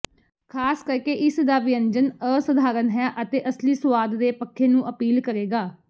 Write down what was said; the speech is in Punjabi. ਖ਼ਾਸ ਕਰਕੇ ਇਸ ਦਾ ਵਿਅੰਜਨ ਅਸਾਧਾਰਨ ਹੈ ਅਤੇ ਅਸਲੀ ਸੁਆਦ ਦੇ ਪੱਖੇ ਨੂੰ ਅਪੀਲ ਕਰੇਗਾ